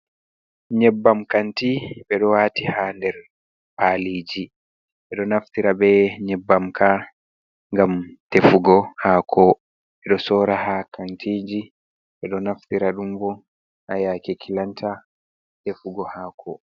Nyebbam kanti ɓe ɗo waati ha nder paaliiji, ɓe ɗo naftira be nyebbam ka ngam defugo haako, ɓe ɗo soora ha kantiiji, ɓe ɗo naftira ɗum bo ha yaake kilanta defugo haako.